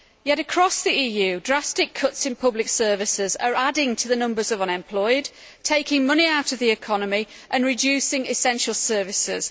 Yet across the EU, drastic cuts in public services are adding to the numbers of unemployed, taking money out of the economy and reducing essential services.